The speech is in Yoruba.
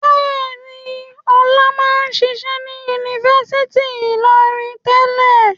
Bẹ́ẹ̀ ni, Ọlá máa ń ṣiṣẹ́ ní Yunifásítì Ìlọrin tẹ́lẹ̀.